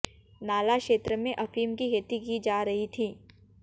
नाला क्षेत्र में अफीम की खेती की जा रही थी